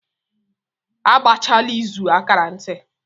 A gbachaa izù a kaara ntị.